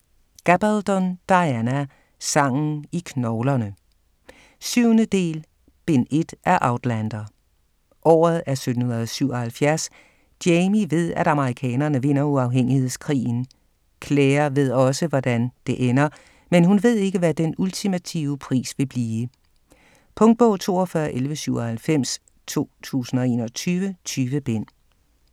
Gabaldon, Diana: Sangen i knoglerne 7. del, bind 1 af Outlander. Året er 1777. Jamie ved at amerikanerne vinder uafhængighedskrigen. Claire ved også, hvordan det ender, men hun ved ikke hvad den ultimative pris vil blive. Punktbog 421197 2021. 20 bind.